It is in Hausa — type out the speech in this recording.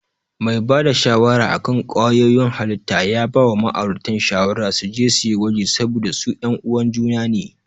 Mai bada shawara akan ƙwayoyin halitta ya bawa ma'auratan shawara suje suyi gwaji saboda su yan uwan juna ne.